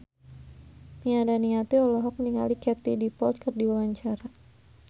Nia Daniati olohok ningali Katie Dippold keur diwawancara